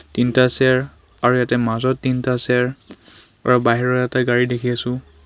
তিনটা চেয়াৰ আৰু ইয়াতে মাজত তিনটা চেয়াৰ আৰু বাহিৰত এটা গাড়ী দেখি আছোঁ.